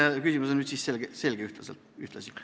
See küsimus on nüüd siis ühtlasi selge.